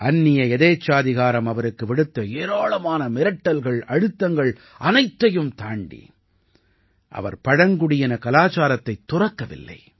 அந்நிய எதேச்சாதிகாரம் அவருக்கு விடுத்த ஏராளமான மிரட்டல்கள் அழுத்தங்கள் அனைத்தையும் தாண்டி அவர் பழங்குடியின கலாச்சாரத்தைத் துறக்கவில்லை